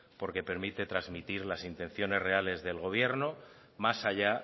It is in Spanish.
porque permite transmitir las intenciones reales del gobierno más allá